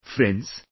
Friends,